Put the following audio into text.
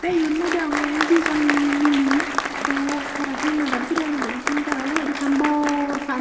te yot mui deongey dijon miley to tara he madad guri anodon hijeni tara obolandi ekkan bor pani.